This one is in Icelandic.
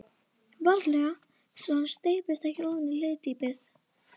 VARLEGA svo hann steypist ekki ofan í hyldýpið.